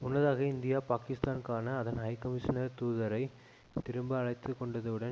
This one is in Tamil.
முன்னதாக இந்தியா பாக்கிஸ்தானுக்கான அதன் ஹைகமிஷனரை தூதரை திரும்ப அழைத்துக்கொண்டதுடன்